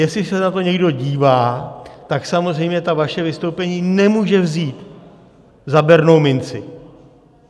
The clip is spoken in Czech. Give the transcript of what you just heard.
Jestli se na to někdo dívá, tak samozřejmě ta vaše vystoupení nemůže vzít za bernou minci.